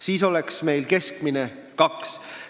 Siis oleks meil keskmine kaks last.